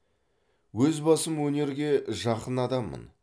өз басым өнерге жақын адаммын